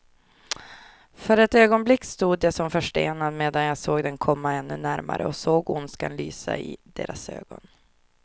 För ett ögonblick stod jag som förstenad, medan jag såg dem komma ännu närmare och såg ondskan lysa i deras ögon.